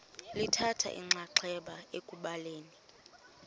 lithatha inxaxheba ekubhaleni